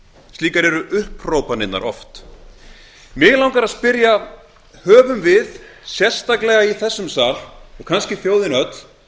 slíkar eru upphrópanirnar mig langar að spyrja höfum við sérstaklega í þessum sal og kannski þjóðin öll